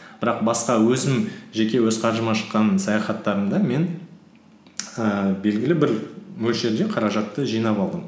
бірақ басқа өзім жеке өз қаржыма шыққан саяхаттарымды мен ііі белгілі бір мөлшерде қаражатты жинап алдым